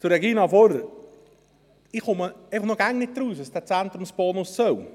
Zu Regina Fuhrer: Ich verstehe noch immer nicht, was dieser Zentrumsbonus soll.